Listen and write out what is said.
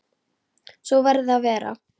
Svo verði að vera.